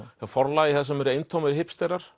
hjá forlagi þar sem eru eintómir